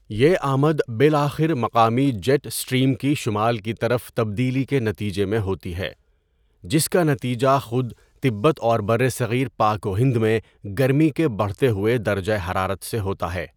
یہ آمد بالآخر مقامی جیٹ سٹریم کی شمال کی طرف تبدیلی کے نتیجے میں ہوتی ہے، جس کا نتیجہ خود تبت اور برصغیر پاک و ہند میں گرمی کے بڑھتے ہوئے درجہ حرارت سے ہوتا ہے۔